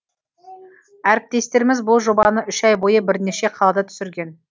әріптестеріміз бұл жобаны үш ай бойы бірнеше қалада түсірген